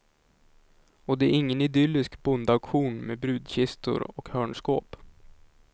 Och det är ingen idyllisk bondauktion med brudkistor och hörnskåp.